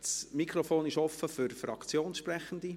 Das Mikrofon ist offen für Fraktionssprechende.